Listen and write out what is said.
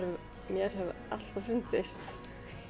mér hefur alltaf fundist